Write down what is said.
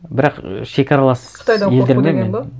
бірақ шекаралас елдермен